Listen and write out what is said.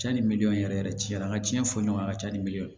Cɛ ni miliyɔn yɛrɛ yɛrɛ ciyɛn a ka ca fɔɲɔgɔn a ka ca ni miliyɔn ye